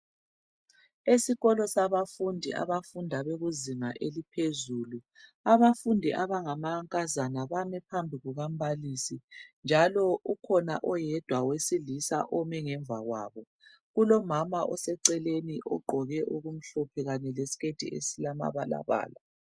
Esikolo sabafundi, abafunda bekuzinga eliphezulu, Abafundi abangamankazana bami phambi kuka mbalisi, njalo ukhona oyedwa owesilisa omi phambi kwabo. Kulomama oseceleni, ogqoke okumhlophe kanye lesiketi esilamabalabala